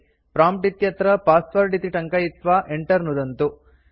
prompt इत्यत्र password इति टङ्कयित्वा enter नुदन्तु